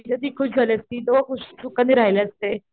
ती खुश झाली असती तो दोघे सुखानं राहिले असते.